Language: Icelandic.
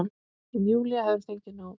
En Júlía hefur fengið nóg.